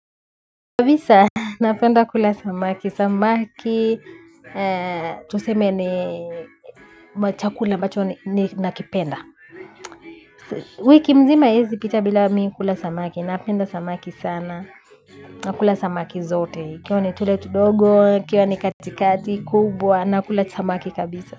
Kabisa, napenda kula samaki. Samaki, tuseme ni machakula macho ni nakipenda. Wiki mzima haiezipita bila mi kula samaki. Napenda samaki sana. Nakula samaki zote. Ikiwa ni tule tudogo, ikiwa ni katikati, kubwa. Nakula samaki kabisa.